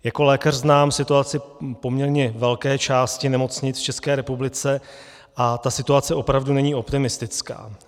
Jako lékař znám situaci poměrně velké části nemocnic v České republice a ta situace opravdu není optimistická.